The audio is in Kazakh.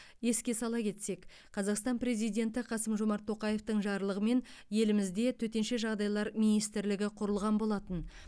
еске сала кетсек қазақстан президенті қасым жомарт тоқаевтың жарлығымен елімізде төтенше жағдайлар министрлігі құрылған болатын